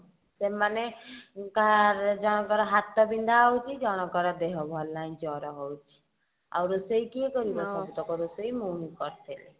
ସେମାନେ କାହାରେ ଜଣଙ୍କର ହାତ ବିନ୍ଧା ହଉଛି ଜଣଙ୍କର ଦେହ ଭଲ ନାହିଁ ଜର ହଉଛି ଆଉ ରୋଷେଇ କିଏ କରିବ ସବୁତକ ରୋଷେଇ ମୁଁ ହିଁ କରିଥିଲି